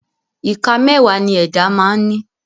Ìka mẹ́wàá ni ẹ̀dá máa ń ní